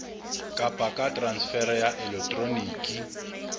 kapa ka transfere ya elektroniki